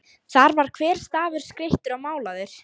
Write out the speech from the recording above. Þar var hver stafur skreyttur og málaður.